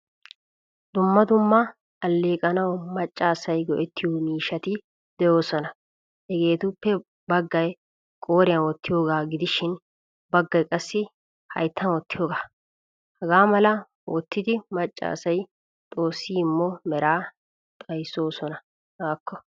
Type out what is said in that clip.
Dumma dumma alleqanawu macca asay go'ettiyo miishshati deosona. Hagettuppe baggay qoriyan wottiyoga gidishin baggay qassi hayttan wottiyoga. Hagaamala wottidi macca asay xoosi immo mera xayssosona. Hakko!